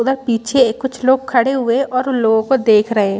उधर पीछे कुछ लोग खड़े हुए है और उन लोग को देख रहे है।